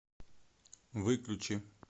выключи